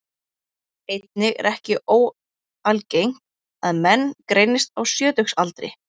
Einnig er ekki óalgengt að menn greinist á sjötugsaldri.